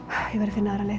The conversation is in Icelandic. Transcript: finna aðra leið